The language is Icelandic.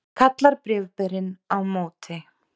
kallar bréfberinn á móti.